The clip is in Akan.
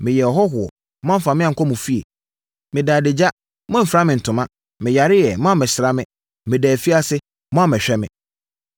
Meyɛɛ ɔhɔhoɔ, moamfa me ankɔ mo fie. Medaa adagya, moamfira me ntoma. Meyareeɛ, moammɛsra me. Medaa afiase, moammɛhwɛ me.’